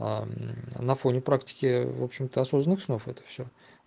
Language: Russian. аана фоне практики в общем-то осознанных снов это всё